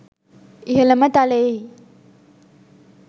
ඉහළම තලයෙහි